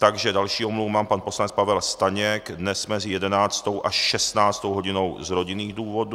Takže další omluvu mám - pan poslanec Pavel Staněk dnes mezi 11. až 16. hodinou z rodinných důvodů.